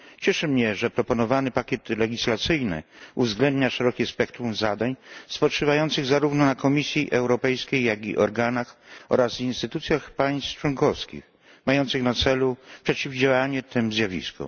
Cieszy mnie, że proponowany pakiet legislacyjny uwzględnia szerokie spektrum zadań spoczywających zarówno na Komisji Europejskiej, jak i organach oraz instytucjach państw członkowskich, mających na celu przeciwdziałanie tym zjawiskom.